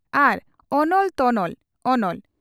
"ᱟᱨ ᱚᱱᱚᱞ ᱛᱚᱱᱚᱞ" (ᱚᱱᱚᱞ) ᱾